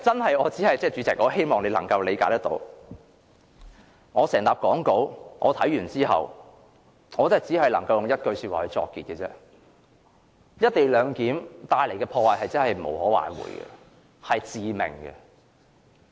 代理主席，希望你能夠理解，我看畢整疊講稿後，只能用一句話作結："一地兩檢"帶來的破壞是無可挽回和致命的。